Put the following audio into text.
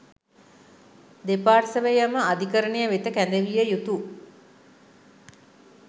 දෙපාර්ශ්වයම අධිකරණය වෙත කැඳවිය යුතු